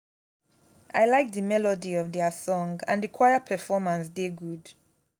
i like the melody of their song and the choir performance dey good